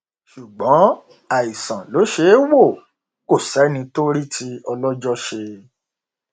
ṣùgbọn àìsàn ló ṣeé wò kó sẹni tó rí tí ọlọjọ ṣe